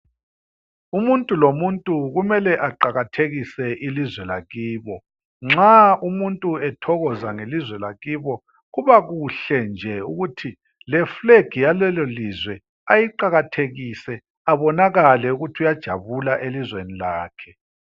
Umuntu lomuntu kumele eqakathekise ilizwe lakibo. Nxa umuntu ethokoza ngelizwe lakibo kubakuhle nje ukuthi le flag yalelo lizwe ayiqakathekise ebonakale ukuthi uyajabula elizweni lakhe.